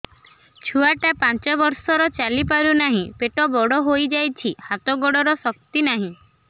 ଛୁଆଟା ପାଞ୍ଚ ବର୍ଷର ଚାଲି ପାରୁନାହଁ ପେଟ ବଡ ହୋଇ ଯାଉଛି ହାତ ଗୋଡ଼ର ଶକ୍ତି ନାହିଁ